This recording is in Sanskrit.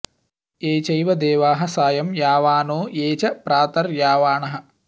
ये चै॒व दे॒वाः सा॑यं॒ यावा॑नो॒ ये च॑ प्रात॒र्यावा॑णः